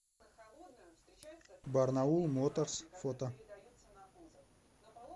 барнаул моторс фото